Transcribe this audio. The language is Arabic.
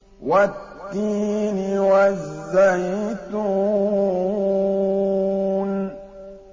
وَالتِّينِ وَالزَّيْتُونِ